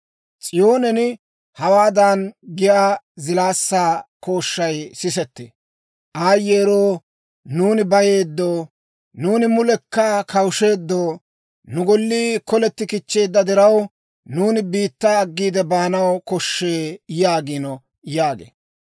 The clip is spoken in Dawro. S'iyoonen hawaadan giyaa zilaassaa kooshshay sisettee; ‹Aayyeero! Nuuni bayeeddo! Nuuni mulekka kawushsheeddo! Nu Gollii koleti kichcheedda diraw, nuuni biittaa aggiide baanaw koshshee› yaagiino» yaagee.